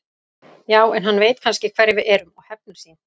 Já, en hann veit kannski hverjir við erum og hefnir sín.